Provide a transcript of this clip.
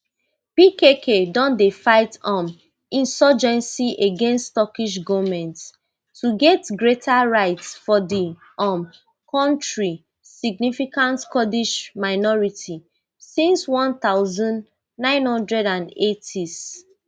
pkk don dey fight um insurgency against turkish goment to get greater rights for di um kontri significant kurdish minority since one thousand, nine hundred and eightys